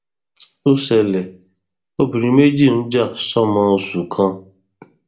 ó ṣẹlẹ obìnrin méjì ń jà sọmọ oṣù kan